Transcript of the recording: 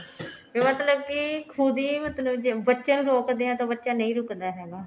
ਵੀ ਮਤਲਬ ਕੀ ਖੁੱਦ ਹੀ ਬੱਚਿਆ ਨੂੰ ਰੋਕਦੇ ਆ ਤਾਂ ਬੱਚਾ ਨਹੀਂ ਰੁੱਕਦਾ ਹੈਗਾ